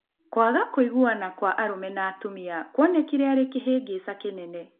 Kwaga kũiganana kwa arũme na atumia kuonekĩre arĩ kĩhĩngĩca kĩnene.